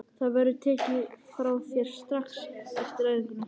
Það verður tekið frá þér strax eftir fæðinguna.